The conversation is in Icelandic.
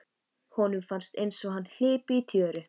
Honum fannst einsog hann hlypi í tjöru.